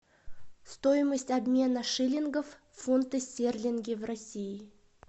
стоимость обмена шиллингов в фунты стерлинги в россии